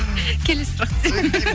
келесі сұрақ